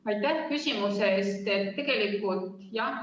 Aitäh küsimuse eest!